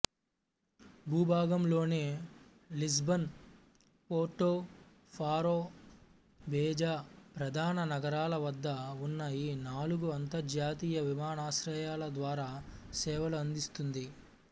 భూభాగంలోని Lisbon Porto Faro Beja ప్రధాన నగరాల వద్ద ఉన్న నాలుగు అంతర్జాతీయ విమానాశ్రయాల ద్వారా సేవలు అందిస్తుంది